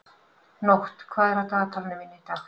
Nótt, hvað er á dagatalinu mínu í dag?